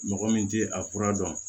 Mɔgɔ min tɛ a kura dɔn